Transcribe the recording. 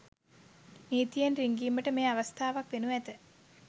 නීතියෙන් රින්ගිමට මෙය අවස්ථාවක් වෙනු ඇත